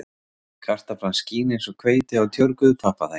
Kartaflan skín eins og hveiti á tjörguðu pappaþaki